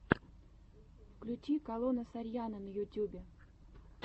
включи калона сарьяно на ютьюбе